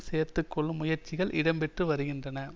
சேர்த்து கொள்ளும் முயற்சிகள் இடம் பெற்று வருகின்றன